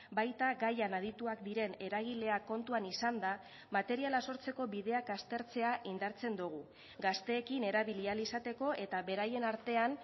baita gaian adituak diren eragileak kontuan izanda materiala sortzeko bideak aztertzea indartzen dugu gazteekin erabili ahal izateko eta beraien artean